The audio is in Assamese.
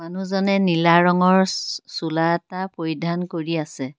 মানুহজনে নীলা ৰঙৰ চো চোলা এটা পৰিধান কৰি আছে।